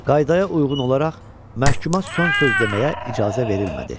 Qaydaya uyğun olaraq, məhkuma son söz deməyə icazə verilmədi.